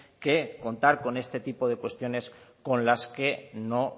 que contar con este tipo de cuestiones con las que no